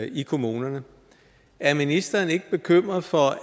i kommunerne er ministeren ikke bekymret for